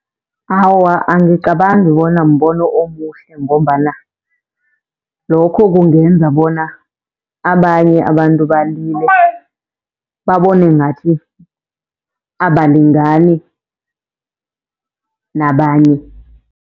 Awa, angicabangi bona mbono omuhle, ngombana lokho kungenza bona abanye abantu balile babone ngathi abalingani nabanye.